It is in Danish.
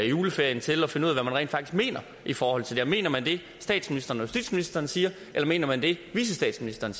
juleferien til at finde ud af hvad man rent faktisk mener i forhold til det mener man det statsministeren og justitsministeren siger eller mener man det vicestatsministeren